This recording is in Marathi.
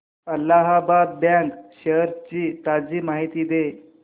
अलाहाबाद बँक शेअर्स ची ताजी माहिती दे